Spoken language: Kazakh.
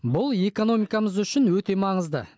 бұл экономикамыз үшін өте маңызды